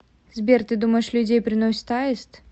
сбер ты думаешь людей приносит аист